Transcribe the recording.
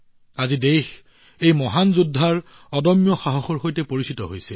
আজি দেশখনে এই মহান যোদ্ধাৰ অদম্য সাহসৰ সৈতে পৰিচিত হৈছে